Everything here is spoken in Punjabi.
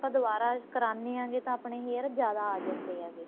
ਆਪਾਂ ਦੁਬਾਰਾ ਕਰਾਣੇ ਆਂ ਜੇ ਤਾਂ ਆਪਣੇ hair ਜਿਆਦਾ ਆਂ ਜਾਂਦੇ ਹੈਗੇ